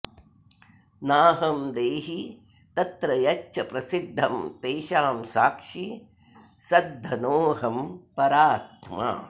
नाहं देही तत्र यच्च प्रसिद्धं तेषां साक्षी सद्घनोऽहं परात्मा